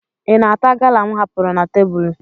Ị na-ata gala m hapụrụ na tebụlụ?